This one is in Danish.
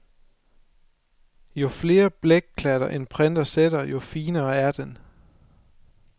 Jo flere blækklatter en printer sætter, jo finere er den.